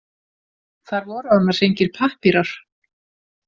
Þar voru annars engir pappírar.